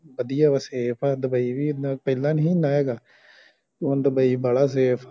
ਵਧਿਆ ਬਸ ਸੇਫ ਆ ਦੁਬਈ ਵੀ ਪਹਿਲਾਂ ਨੀ ਸੀ ਇੰਨਾ ਹੈਗਾ